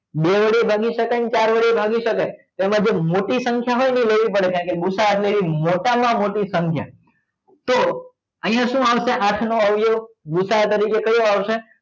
બે વડે ભાગી શકાય ચાર વડે ભાગી શકાય એમાં જે મોટી સંખ્યા હોય એ લેવી પડે કારણ કે ભુસા એટલે મોટામાં મોટી સંખ્યા તો અહીંયા શું આવશે? આઠ નો અવયવ ભુસા તરીકે કયો આવશે